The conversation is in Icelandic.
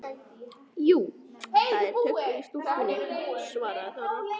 Jú, það er töggur í stúlkunni, svaraði Þóra.